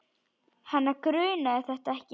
Hana grunaði þetta ekki.